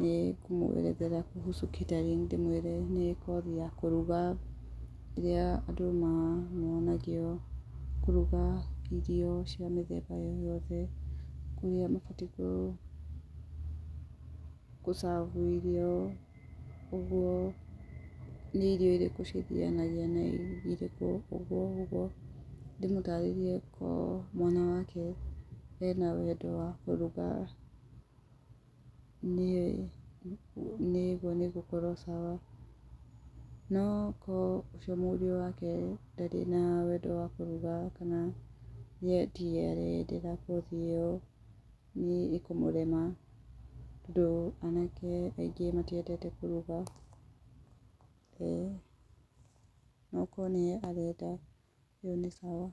nĩngũmũerethera kuhusu catering ndĩmwĩre nĩ kothi ya kũruga ũrĩa andũ monagio kũruga irio cia mĩthemba yothe. Ũrĩa mabatiĩ gũ serve irio, ũguo nĩ irio irĩkũ cithianagia na irio irĩkũ ũguo ũguo, ndĩmũtarĩrie okorwo mwana wake ena wendo wa kũruga, nĩguo nĩngũkorwo sawa. No korwo ũcio mũriũ wake ndarĩ na wendo wa kũruga kana we tiwe areyendera kothi ĩyo nĩĩ kũmũrema tondũ anake aingĩ matiendete kũruga, no okorwo nĩwe arenda ĩyo nĩ sawa.